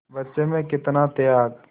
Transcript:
बच्चे में कितना त्याग